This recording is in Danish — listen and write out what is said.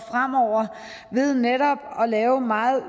fremover ved netop at lave meget